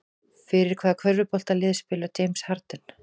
Fyrir hvaða körfuboltalið spilar James Harden?